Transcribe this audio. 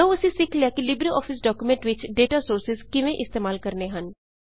ਲਉ ਅਸੀਂ ਸਿੱਖ ਲਿਆ ਕਿ ਲਿਬ੍ਰੇ ਆਫਿਸ ਡਾਕੂਮੈਂਟਸ ਵਿੱਚ ਡੇਟਾ ਸੋਰਸਿਜ਼ ਕਿਵੇਂ ਇਸਤੇਮਾਲ ਕਰਣੇ ਹਨ